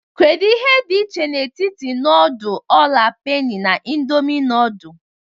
Kedu ihe dị iche n'etiti nudul ola peni na indomi nudul?